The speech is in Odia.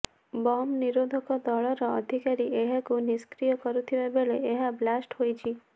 ବମ ନିରୋଧକ ଦଳର ଅଧିକାରୀ ଏହାକୁ ନିଷ୍କ୍ରିୟ କରୁଥିବା ବେଳେ ଏହା ବ୍ଲାଷ୍ଟ ହୋଇଛି